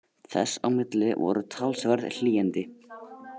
Þess á milli voru talsverð hlýindi